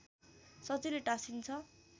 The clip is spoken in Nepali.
सजिलै टाँसिन्छ